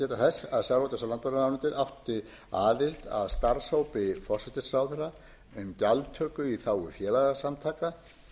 landbúnaðarráðuneytið áttu aðild að starfshópi forsætisráðherra um gjaldtöku í þágu félagasamtaka